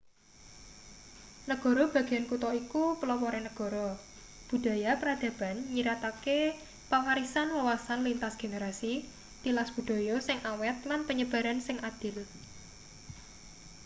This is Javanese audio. negara bagean kutha iku pelopore negara budaya peradaban nyiratake pewarisan wawasan lintas generasi tilas budaya sing awet lan penyebaran sing adil